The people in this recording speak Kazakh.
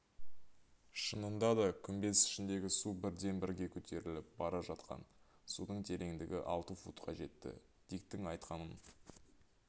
шынында да күмбез ішіндегі су бірден-бірге көтеріліп бара жатқан судың тереңдігі алты футқа жетті диктің айтқанын